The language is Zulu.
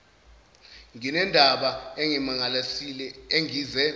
nginendaba engimangalisile engize